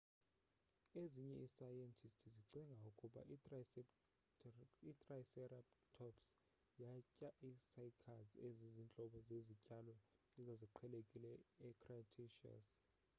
ezinye iisayentisti zicinga ukuba itriceratops yatya ii-cycads ezizintlobo zezityalo ezaziqhelekile ecretaceous